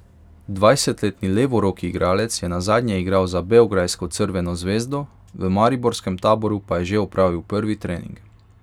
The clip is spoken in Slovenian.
Dvajsetletni levoroki igralec je nazadnje igral za beograjsko Crveno zvezdo, v mariborskem Taboru pa je že opravil prvi trening.